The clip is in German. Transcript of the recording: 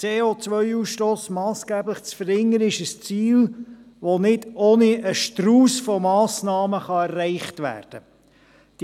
Den CO2-Ausstoss massgeblich zu verringern, ist ein Ziel, das nicht ohne einen Strauss an Massnahmen erreicht werden kann.